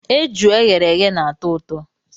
Eju e ghere eghe na-atọ ụtọ.